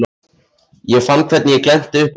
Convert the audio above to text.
Ég fann hvernig ég glennti upp augun.